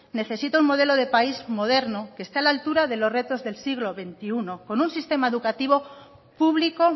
necesita un modelo de país moderno que esté a la altura de los retos del siglo veintiuno con un sistema educativo público